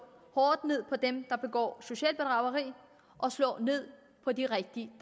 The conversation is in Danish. hårdt ned på dem der begår socialt bedrageri og slå ned på de rigtige